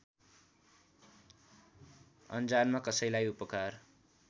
अनजानमा कसैलाई उपकार